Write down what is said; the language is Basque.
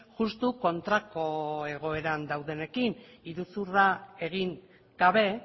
justu kontrako egoeran daudenekin iruzurra egin gabe